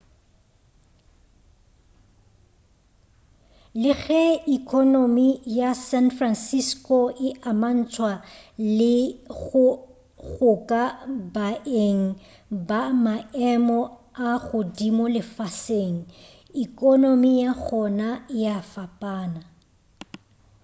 le ge ekonomi ya san francisco e amantšhwa le go goka baeng ga maemo a godimo lefaseng ekonomi ya gona e a fapana